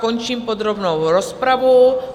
Končím podrobnou rozpravu.